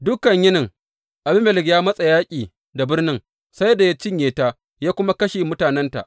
Dukan yinin, Abimelek ya matsa yaƙi da birnin sai da ya cinye ta ya kuma kashe mutanenta.